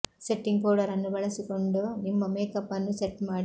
setting powder ಅನ್ನು ಬಳಸಿಕೊಂಡು ನಿಮ್ಮ ಮೇಕಪ್ ಅನ್ನು ಸೆಟ್ ಮಾಡಿ